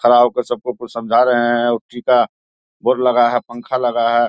खड़ा होकर सबको कुछ समझा रहे हैं उसी का बोर्ड लगा है पंखा लगा है।